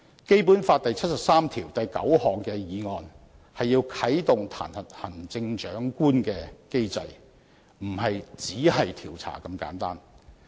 《基本法》第七十三條第九項的議案是要啟動彈劾行政長官的機制，不是"只是調查"這麼簡單。